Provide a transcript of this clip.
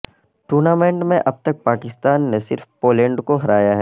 tournament میں اب تک پاکستان نے صرف پولینڈ کو ہرایا ہے